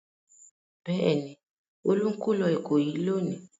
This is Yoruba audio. Bẹ́ẹ̀ ni, Olú ń kó lọ Ìkòyí lónìí.